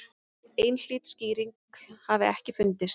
Einhlít skýring hafi ekki fundist.